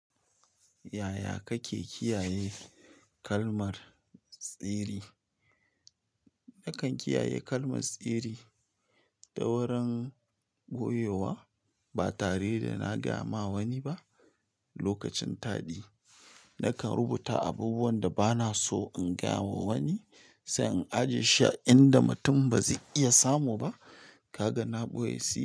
Yaya kake kiyaye kalmar tsiri? Nakan kiyaye kalmar sirri ta wurin goyyowa. Ba tare da na gaya ma wani ba lokacin taɗi. Nakan rubuta abubuwan da ba na so in gaya wa wani, sai in ajiye shi a inda mutum ba zai iya samu ba. Ka ga na ɓoye sirri?